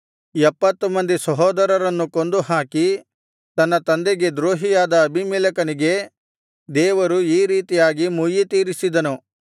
ಎಪ್ಪತ್ತು ಮಂದಿ ಸಹೋದರರನ್ನು ಕೊಂದುಹಾಕಿ ತನ್ನ ತಂದೆಗೆ ದ್ರೋಹಿಯಾದ ಅಬೀಮೆಲೆಕನಿಗೆ ದೇವರು ಈ ರೀತಿಯಾಗಿ ಮುಯ್ಯಿತೀರಿಸಿದನು